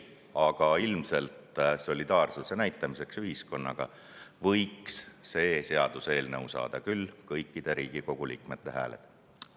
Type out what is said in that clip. Aga ühiskonnaga solidaarsuse näitamiseks võiks see seaduseelnõu saada küll kõikide Riigikogu liikmete hääled.